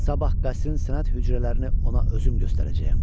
Sabah qəsrin sənət hücrələrini ona özüm göstərəcəyəm.